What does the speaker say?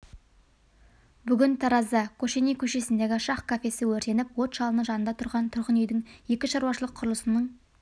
бүгін таразда кошеней көшесіндегі шах кафесі өртеніп от жалыны жанында тұрған тұрғын үйдің екі шаруашылық құрылысының